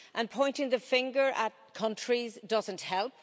And pointing the finger at countries doesn't help.